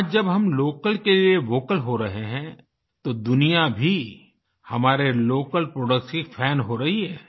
आज जब हम लोकल के लिए वोकल हो रहे हैं तो दुनिया भी हमारे लोकल प्रोडक्ट्स की फान हो रही है